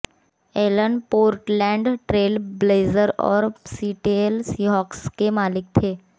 Elon Portland Trail Blazers और Seattle Seahawks के मालिक थे